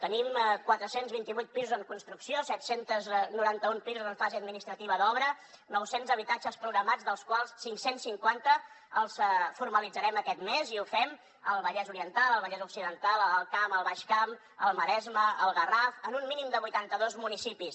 tenim quatre cents i vint vuit pisos en construcció set cents i noranta un pisos en fase administrativa d’obra nou cents habitatges programats dels quals cinc cents i cinquanta els formalitzarem aquest mes i ho fem al vallès oriental al vallès occidental a l’alt camp al baix camp al maresme al garraf en un mínim de vuitanta dos municipis